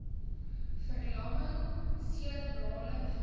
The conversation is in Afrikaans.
verlamming serebrale ver